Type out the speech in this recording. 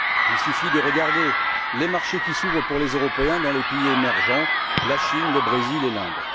Il suffit de regarder les marchés qui s'ouvrent aux Européens dans les pays émergents la Chine, le Brésil et l'Inde.